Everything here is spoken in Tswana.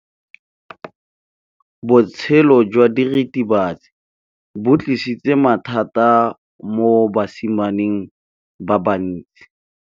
Botshelo jwa diritibatsi ke bo tlisitse mathata mo basimaneng ba bantsi.